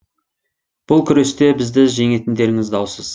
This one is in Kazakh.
бұл күресте бізді жеңетіндеріңіз даусыз